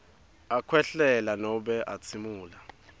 akhwehlela nobe atsimula